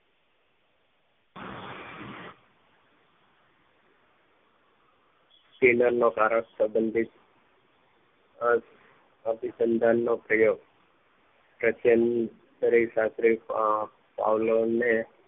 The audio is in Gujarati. ફીલરનો કારણ સબંધિત અ અભિસંધાન નો પ્રયોગ અત્યાર ની ખરી રાત્રે સાથે પાવલો ને